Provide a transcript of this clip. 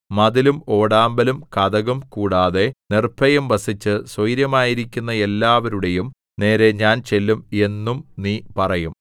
മതിലും ഓടാമ്പലും കതകും കൂടാതെ നിർഭയം വസിച്ച് സ്വൈരമായിരിക്കുന്ന എല്ലാവരുടെയും നേരെ ഞാൻ ചെല്ലും എന്നും നീ പറയും